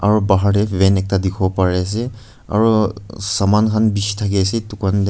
Aro bahar te van ekta dikhi bo pare ase aro saman han bishi thaki ase dukan te.